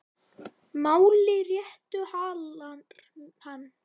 Máli réttu hallar hann